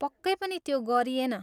पक्कै पनि त्यो गरिएन।